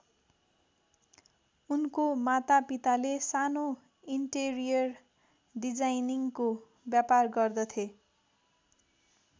उनको माता पिताले सानो इन्टेरियर डिजाइनिन्गको व्यापार गर्दथे